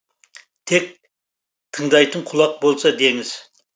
тек тыңдайтын құлақ болса деңіз